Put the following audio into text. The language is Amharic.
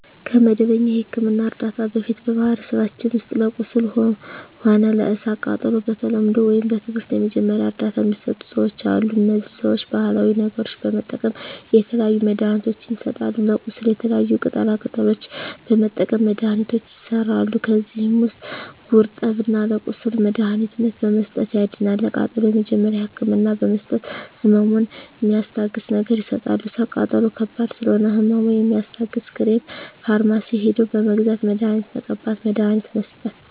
ከመደበኛ የሕክምና ዕርዳታ በፊት በማኀበረሰባችን ውስጥ ለቁስል ሆነ ለእሳት ቃጠሎው በተለምዶው ወይም በትምህርት የመጀመሪያ እርዳታ ሚሰጡ ሰዎች አሉ እነዚህ ሰዎች ባሀላዊ ነገሮች በመጠቀም የተለያዩ መድሀኒትችን ይሰጣሉ ለቁስል የተለያዩ ቅጠላ ቅጠሎችን በመጠቀም መድሀኒቶች ይሠራሉ ከዚህ ውስጥ ጉርጠብን ለቁስል መድሀኒትነት በመስጠት ያድናል ለቃጠሎ የመጀመሪያ ህክምና በመስጠት ህመሙን ሚስታግስ ነገር ይሰጣሉ እሳት ቃጠሎ ከባድ ስለሆነ ህመሙ የሚያስታግስ ክሬም ፈርማሲ ሄደው በመግዛት መድሀኒት መቀባት መድሀኒት መስጠት